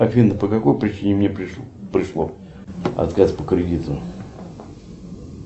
афина по какой причине мне пришло отказ по кредиту